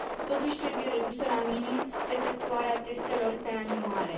Totuși, trebuie redusă la minimum efectuarea testelor pe animale.